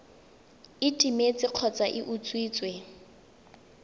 e timetse kgotsa e utswitswe